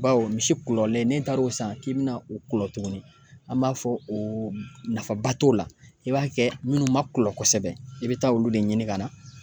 Bawo misi kulɔlen n'i taar'o san k'i bɛna u kulɔ tuguni, an b'a fɔ o nafaba t'o la, i b'a kɛ minnu ma kulɔ kosɛbɛ i bɛ taa olu de ɲini ka na